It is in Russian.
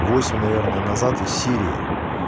восемь наверное назад из сирии